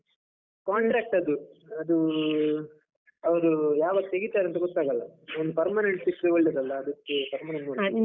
Contract ಅದು, ಅದೂ ಅವ್ರು ಯಾವಾಗ್ ತೆಗೀತಾರಂತ ಗೊತ್ತಾಗಲ್ಲ, ಒಂದು permanent ಸಿಕ್ಕಿದ್ರೆ ಒಳ್ಳೆದಲ್ಲ, ಅದಕ್ಕೇ permanent ನೋಡ್ತಾ ಇದ್ದೇನೆ.